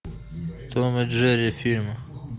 том и джерри фильм